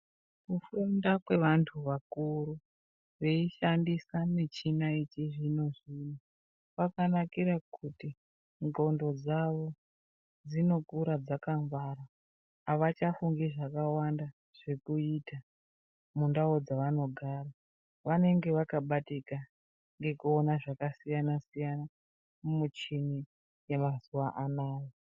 Kufunda kwevanhu vakuru veishandisa michina yechizvinozvino kwakanakire kuti xlondo dzawo dzinokura dzakangwara avachafungi zvakawanda zvekuita mundau dzavanogara vanonga vakabatika ngekuona zvakasiyanasiyan mumichini dzemazuwa anaya.